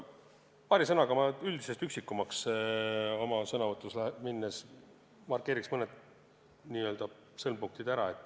Paari sõnaga ma üldisest üksikumaks minnes markeerin mõned sõlmpunktid ära.